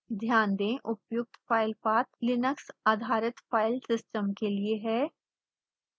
ध्यान दें उपर्यक्त फाइल पाथ लिनक्स आधारित फाइल सिस्टम के लिए है